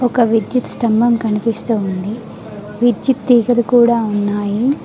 ఒక విద్యుత్ స్తంభం కనిపిస్తూ ఉంది విద్యుత్ తీగలు కూడా ఉన్నాయి.